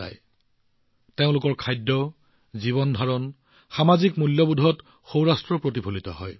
আজিও সৌৰাষ্ট্ৰৰ কিছুমান আভাস তেওঁলোকৰ খাদ্যাভ্যাস জীৱনশৈলী আৰু সামাজিক ৰীতিনীতিত পোৱা যায়